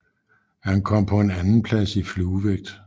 Han kom på en andenplads i fluevægt